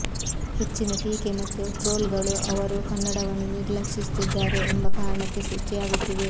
ಹೆಚ್ಚಿನ ಟೀಕೆ ಮತ್ತು ಟ್ರೋಲ್ಗಳು ಅವರು ಕನ್ನಡವನ್ನು ನಿರ್ಲಕ್ಷಿಸುತ್ತಿದ್ದಾರೆ ಎಂಬ ಕಾರಣಕ್ಕೆ ಸೃಷ್ಟಿಯಾಗುತ್ತಿವೆ